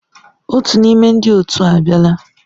Otu n'ime ndị otu a abịala.